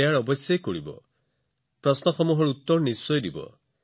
মই আপোনালোকক এই সকলো বোৰ প্ৰশ্নৰ উত্তৰ দিবলৈ অনুৰোধ জনাইছো